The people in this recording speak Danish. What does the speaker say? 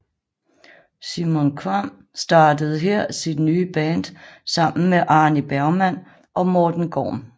Simon Kvamm startede her sit nye band sammen med Arní Bergmann og Morten Gorm